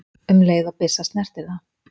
um leið og byssa snertir það.